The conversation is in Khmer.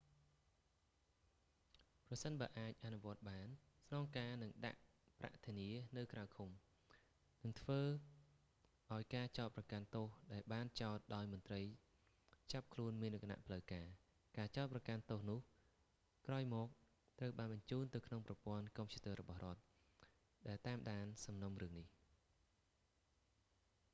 ប្រសិនបើអាចអនុវត្តបាន ស្នងការនឹងដាក់ប្រាក់ធានានៅក្រៅឃុំ និងធ្វើឲ្យការចោទប្រកាន់ទោសដែលបានចោទដោយមន្រ្តីចាប់ខ្លួនមានលក្ខណៈផ្លូវការ ការចោទប្រកាន់ទោសនោះ ក្រោយមកត្រូវបានបញ្ចូលទៅក្នុងប្រព័ន្ធកុំព្យូទ័ររបស់រដ្ឋ ដែលតាមដានសំណុំរឿងនេះ